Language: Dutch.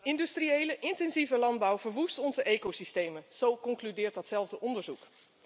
Industriële intensieve landbouw verwoest onze ecosystemen, zo concludeert datzelfde onderzoek.